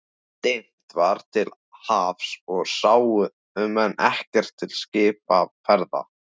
Dimmt var til hafs og sáu menn ekkert til skipaferða.